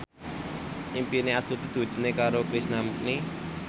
impine Astuti diwujudke karo Krishna Mukti